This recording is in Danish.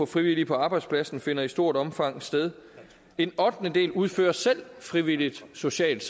frivillige på arbejdspladsen finder i stort omfang sted en ottendedel udfører selv frivilligt socialt